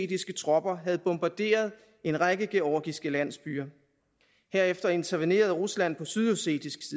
tropper havde bombarderet en række georgiske landsbyer herefter intervenerede rusland på sydossetisk